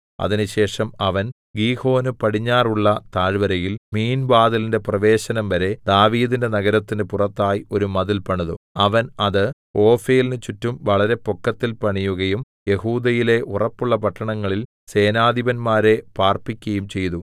അതിനുശേഷം അവൻ ഗീഹോന് പടിഞ്ഞാറുള്ള താഴ്വരയിൽ മീൻവാതിലിന്റെ പ്രവേശനംവരെ ദാവീദിന്റെ നഗരത്തിന് പുറത്തായി ഒരു മതിൽ പണിതു അവൻ അത് ഓഫേലിന് ചുറ്റും വളരെ പൊക്കത്തിൽ പണിയുകയും യെഹൂദയിലെ ഉറപ്പുള്ള പട്ടണങ്ങളിൽ സേനാധിപന്മാരെ പാർപ്പിക്കയും ചെയ്തു